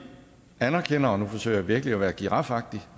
anerkender og nu forsøger jeg virkelig at være girafagtig